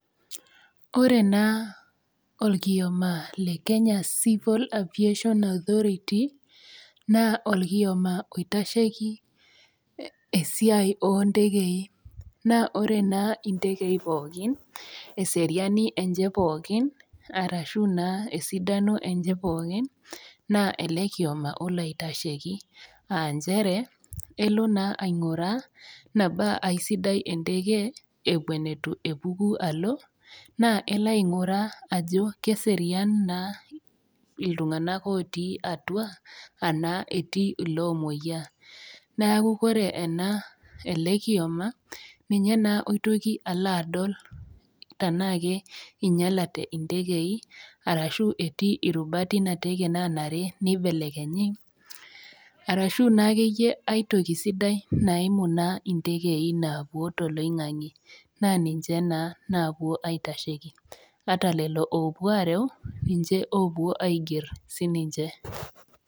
Ore naa olkioma le Kenya Civil aviation authority, naa olkioma oitasheiki esiai oo intekei, naa ore naa intekei pookin, eseriani enye pookin, arashu naa esidano enye pookin, naa ele kioma olo aitasheiki. Aa nchere elo naa ainguraa tanaa aisidai enteke ewuen eitu epuku alo, naa elo ainguraa ajo keserian naa iltung'ana otii atua, anaa etii iloomwoiyaa, neaku ore ele kioma, ninye naa oitoki alo adol tanaake einyalate intekei, ashu etii irubat Ina teke naanare neibelekenyi arashu naake iyie ai toki sidai naimu naa intekei naapuo toloing'ange, naa ninche naa naapuo aitasheiki ata lelo oopuo areu, ninche naa oiger.